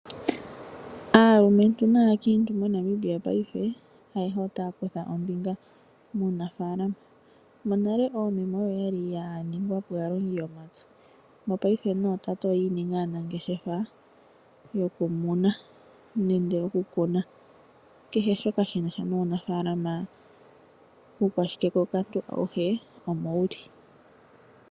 Aalumentu naakiintu moNamibia paife ayehe otaya kutha ombinga muunafalama. Monale oomeme oyo yali ya ningwa po aalongi yomapya. Mopaife nootate oyi ininga aanangeshefa yoku muna nende oku kuna kehe shoka shi nasha nuunafalama uukwashike ko okantu awuhe omo wuli.